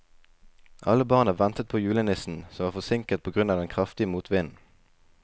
Alle barna ventet på julenissen, som var forsinket på grunn av den kraftige motvinden.